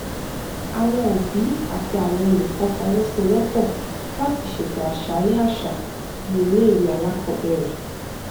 àwọn òbí àti àwọn olùkó fọwọsowópò láti ṣètò àṣálẹ àṣà ní ilé ìwé alákòóbèrè